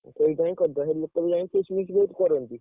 ସେଠି ଯାଇଁ କରିଦବା, ସେଇଠି ଲୋକ ବି ଯାଇଁ feast feast କରନ୍ତି।